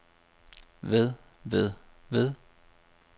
ved ved ved